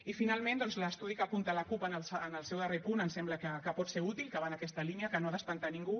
i finalment doncs l’estudi que apunta la cup en el seu darrer punt em sembla que pot ser útil que va en aquesta línia que no ha d’espantar a ningú